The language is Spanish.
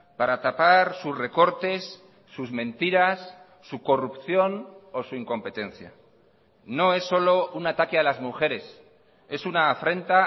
para tapar sus recortes sus mentiras su corrupción o su incompetencia no es solo un ataque a las mujeres es una afrenta